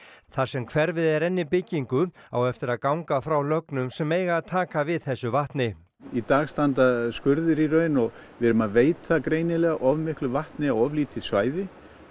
þar sem hverfið er enn í byggingu á eftir að ganga frá lögnum sem eiga að taka við þessu vatni í dag standa skurðir í raun og við erum að veita greinilega of miklu vatni á of lítið svæði